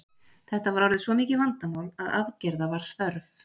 þetta var orðið svo mikið vandamál að aðgerða var þörf